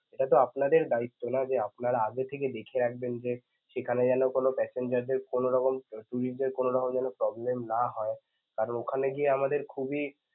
এটা তো আপনাদের দায়িত্ব না যে আপনারা আগে থেকে দেখে রাখবেন যে সেখানে যেন কোন passenger দের কোনোরকম অসুবিধা কোনোরকম যেন problem না হয় কারন ওখানে গিয়ে আমাদের খুবই